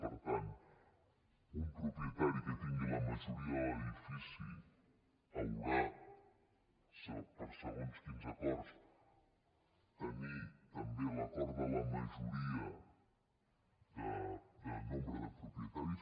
per tant un propietari que tingui la majoria a l’edifici haurà per a segons quins acords de tenir també l’acord de la majoria de nombre de propietaris